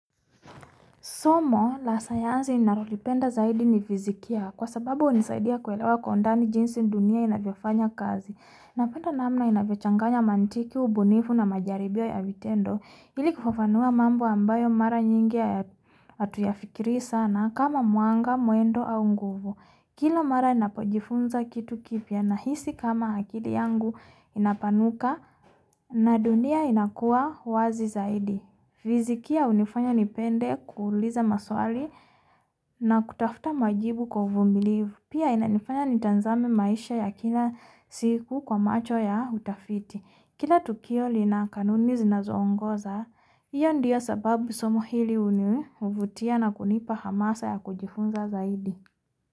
Somo, la sayansi nalolipenda zaidi ni fiizikia kwa sababu hunisaidia kuelewa kwa undani jinsi dunia inavyofanya kazi Napenda namna inavyochanganya mantiki, ubunifu na majaribio ya vitendo Ili kufafanua mambo ambayo mara nyingi hatuyafikiri sana kama mwanga, mwendo, au nguvu Kila mara napojifunza kitu kipya, nahisi kama akili yangu inapanuka na dunia inakua wazi zaidi fizikia hunifanya nipende kuuliza maswali na kutafuta majibu kwa uvumilivu Pia inanifanya nitazame maisha ya kila siku kwa macho ya utafiti Kila tukio lina kanuni zinazoongoza hiyo ndio sababu somo hili hunivutia na kunipa hamasa ya kujifunza zaidi.